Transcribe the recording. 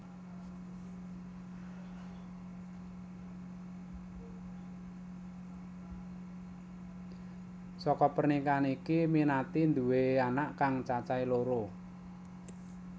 Saka pernikahan iki Minati nduwé anak kang cacahé loro